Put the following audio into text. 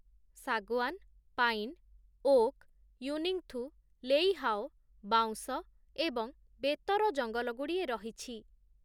ଶାଗୁଆନ୍‌, pine, oak, ୟୁନିଙ୍ଗ୍‌ଥୁ, ଲେଇହାଓ, ବାଉଁଶ ଏବଂ ବେତର ଜଙ୍ଗଲଗୁଡ଼ିଏ ରହିଛି ।